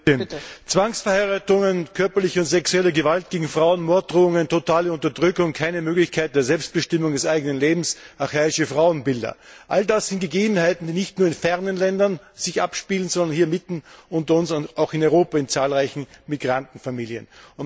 Frau Präsidentin! Zwangsverheiratungen, körperliche und sexuelle Gewalt gegen Frauen, Morddrohungen, totale Unterdrückung, keine Möglichkeit der Selbstbestimmung des eigenen Lebens, archaische Frauenbilder all das sind Gegebenheiten, die sich nicht nur in fernen Ländern abspielen, sondern hier mitten unter uns, auch in Europa, in zahlreichen Migrantenfamilien.